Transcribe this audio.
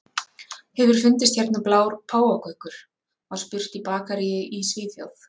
Hefur fundist hérna blár páfagaukur? var spurt í bakaríi í Svíþjóð.